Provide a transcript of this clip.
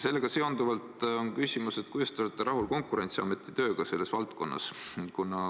Sellega seonduvalt on küsimus, et kuidas te olete rahul Konkurentsiamet tööga selles valdkonnas.